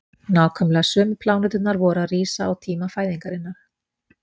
Nákvæmlega sömu pláneturnar voru að rísa á tíma fæðingarinnar.